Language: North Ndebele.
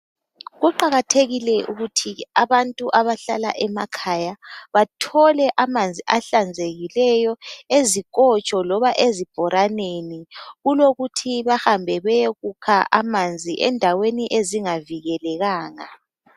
Kuqakathekile ukuthi abantu abahlala emakhaya bathole amanzi ahlanzekileyo ezikotsho loba ezibhoraneni kulokuthi bahambe bayokukha amanzi endaweni ezingavikelekanga.